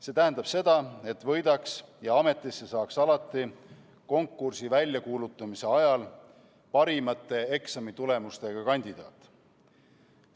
See tähendab seda, et võidaks ja ametisse saaks alati konkursi väljakuulutamise ajal parimate eksamitulemustega kandidaat.